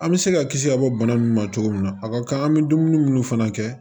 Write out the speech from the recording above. An bɛ se ka kisi ka bɔ bana mun ma cogo min na a ka kan an bɛ dumuni minnu fana kɛ